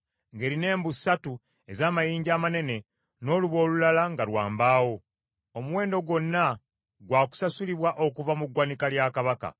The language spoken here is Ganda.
ng’erina embu ssatu ez’amayinja amanene, n’olubu olulala nga lwa mbaawo. Omuwendo gwonna gwakusasulibwa okuva mu gwanika lya kabaka.